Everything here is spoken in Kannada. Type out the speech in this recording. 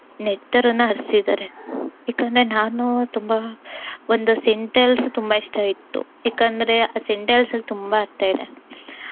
ನೆತ್ತರನ್ನಾ ಹರ್ಸಿದ್ದಾರೆ. ಇದನ್ನ ನಾನು ತುಂಬಾ ಒಂದು sentence ತುಂಬಾ ಇಷ್ಟ ಇತ್ತು. ಯಾಕಂದ್ರೆ ಆ sentence ಅಲ್ ತುಂಬಾ ಅರ್ಥ ಇದೆ.